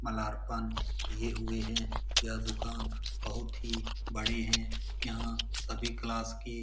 मालार्पण किये हुए हैं यह दुकान बहुत ही बड़े हैं यहाँ सभी क्लास के --